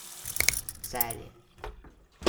Celje.